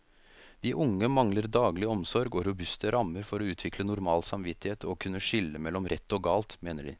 De unge mangler daglig omsorg og robuste rammer for å utvikle normal samvittighet og kunne skille mellom rett og galt, mener de.